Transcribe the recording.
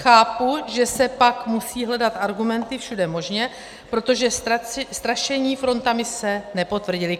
Chápu, že se pak musí hledat argumenty všude možně, protože strašení frontami se nepotvrdilo.